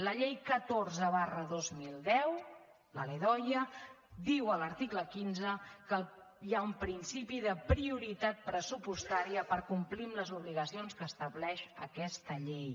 la llei catorze dos mil deu la ldoia diu a l’article quinze que hi ha un principi de prioritat pressupostària per complir amb les obligacions que estableix aquesta llei